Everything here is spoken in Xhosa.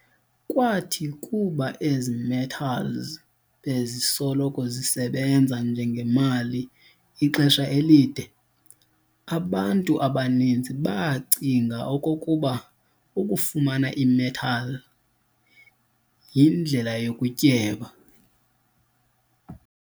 Kwathi kuba ezi-metals bezisoloko zesebanza njengemali ixesha elide, abantu abaninzi baacinga okokuba ukufumana i-metal iindlela yokutyeba.